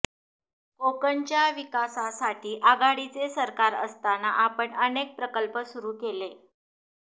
कोकणच्या विकासासाठी आघाडीचे सरकार असताना आपण अनेक प्रकल्प सुरू केले